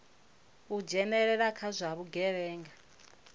u dzhenelela kha zwa vhugevhenga